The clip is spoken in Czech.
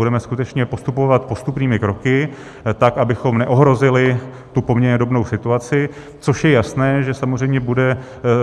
Budeme skutečně postupovat postupnými kroky, tak abychom neohrozili tu poměrně dobrou situaci, což je jasné, že samozřejmě bude